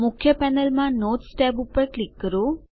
મુખ્ય પેનલ માં notes tab પર ક્લિક કરો